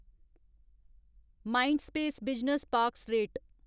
Mindspace business parks rate